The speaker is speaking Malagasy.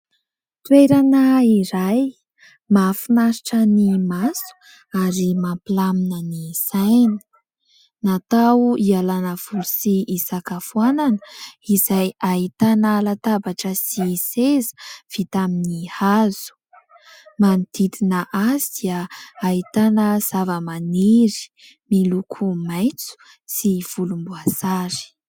Toerana izay mahafinaritra ny maso ary mampilamina ny saina. Natao hialana voly sy hisakafoanana izay ahitana latabatra sy seza vita amin'ny hazo. Manodidina azy dia ahitana zavamaniry miloko maitso sy volomboasary.